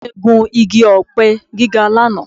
Bàbá mi gùn igi ọ̀pẹ gíga lánàá